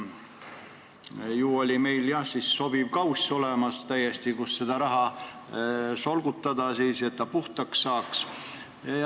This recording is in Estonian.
Ju meil oli, jah, siis sobiv kauss olemas, kus sai seda raha solgutada, et ta puhtaks saaks.